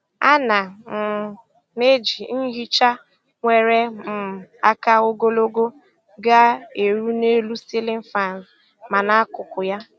A na um m eji nhicha nwere um aka ogologo ga - eru n'elu ceiling faans ma na akụkụ ya